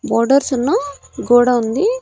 Borders ఉన్న గోడ ఉంది.